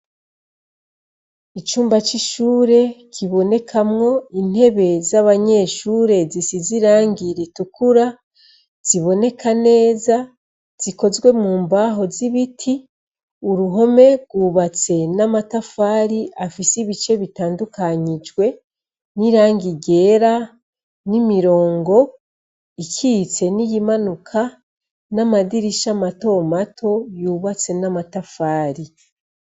Icumba c'ishure kibonekamwo intebe z'abanyeshure zisize irangira i tukura ziboneka neza zikozwe mu mbaho z'ibiti uruhome rwubatse n'amatafari afise ibice bitandukanyijwe n'irangi ryera ni mirongo icitse n'iyimanuka n'amadirisha matomato yubatse n'amatafari.